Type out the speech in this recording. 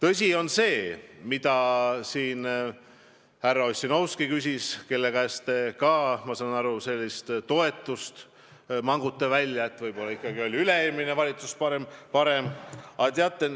Siin küsis ka härra Ossinovski, kellelt te ka, ma saan aru, mangute tunnistust, et võib-olla ikkagi oli üle-eelmine valitsus parem.